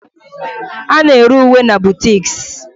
A na-ere uwe na boutiques